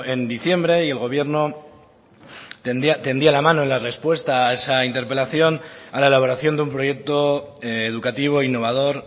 en diciembre y el gobierno tendía la mano en la respuesta a esa interpelación a la elaboración de un proyecto educativo innovador